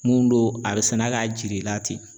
Mun don a bɛ sɛnɛ k'a jir'i la ten